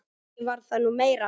Ekki var það nú meira.